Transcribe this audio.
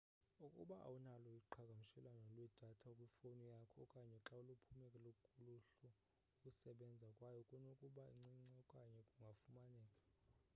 ukuba awunalo uqhagamshelo lwedatha kwifowuni yakho okanye xa luphume kuluhlu ukusebenza kwayo kunokuba ncinci okanye kungafumaneki